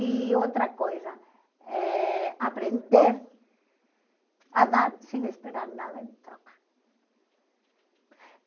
E outra coisa, eh aprender a dar sem esperar nada em troca.